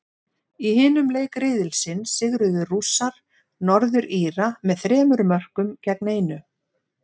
Í hinum leik riðilsins sigruðu Rússar, Norður Íra, með þremur mörkum gegn einu.